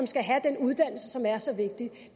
skal have den uddannelse som er så vigtig det